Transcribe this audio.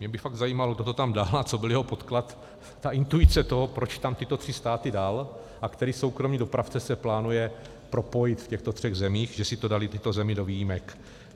Mě by fakt zajímalo, kdo to tam dal a co byl jeho podklad, ta intuice toho, proč tam tyto tři státy dal, a který soukromý dopravce se plánuje propojit v těchto třech zemích, že si to daly tyto země do výjimek.